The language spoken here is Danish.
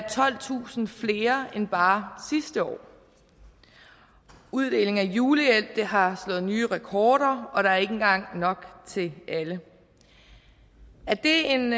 tolvtusind flere end bare sidste år uddeling af julehjælp har slået nye rekorder og der er ikke engang nok til alle er det en